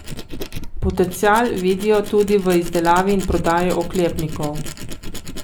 Potencial vidijo tudi v izdelavi in prodaji oklepnikov.